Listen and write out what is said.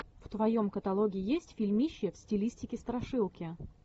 в твоем каталоге есть фильмище в стилистике страшилки